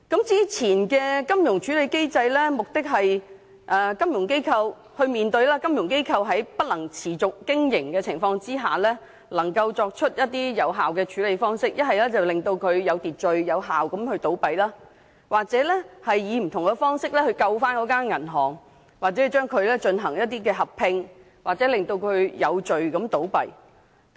早前設立的金融機構處置機制，其目的是令金融機構在面對不能持續經營的情況下，能夠作出有效的處理方法，令機構有秩序、有效地倒閉，又或以不同方式拯救銀行，例如進行合併或令其有序地倒閉。